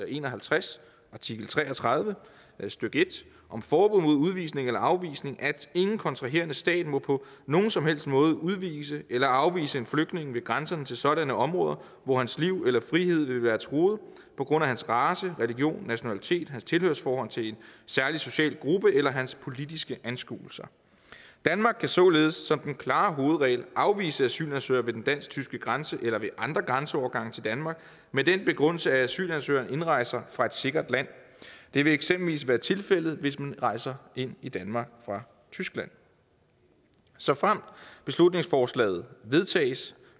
en og halvtreds artikel tre og tredive stykke en om forbud mod udvisning eller afvisning at ingen kontraherende stat på på nogen som helst måde må udvise eller afvise en flygtning ved grænserne til sådanne områder hvor hans liv eller frihed vil være truet på grund af hans race religion nationalitet hans tilhørsforhold til en særlig social gruppe eller hans politiske anskuelser danmark kan således som den klare hovedregel afvise asylansøgere ved den dansk tyske grænse eller ved andre grænseovergange til danmark med den begrundelse at asylansøgeren indrejser fra et sikkert land det vil eksempelvis være tilfældet hvis man rejser ind i danmark fra tyskland såfremt beslutningsforslaget vedtages